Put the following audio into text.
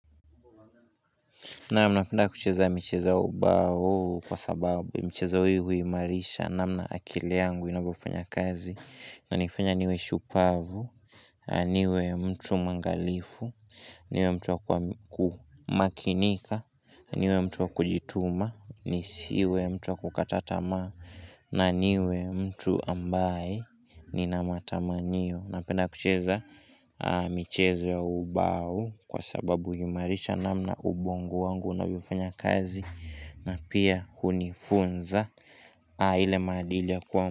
Naam, napenda kucheza michezo ya ubao kwa sababu mchezo huo huimarisha namna akili yangu inavyofanya kazi, inanifanya niwe shupavu, niwe mtu mwangalifu, niwe mtu wa kumakinika, niwe mtu wa kujituma, nisiwe mtu wa kukata tamaa na niwe mtu ambaye nina matamanio. Napenda kucheza michezo ya ubao kwa sababu yumarisha namna ubongo wangu unavyofanya kazi na pia hunifunza ile maadili ya kuwa.